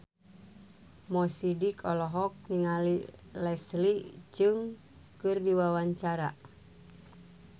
Mo Sidik olohok ningali Leslie Cheung keur diwawancara